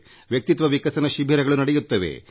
ವ್ಯಕ್ತಿತ್ವ ವಿಕಸನ ಶಿಬಿರಗಳು ನಡೆಯುತ್ತವೆ